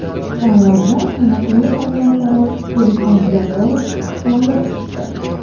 Tanlovda taniqli haykaltarosh Ilhom Jabborov g‘olib chiqdi .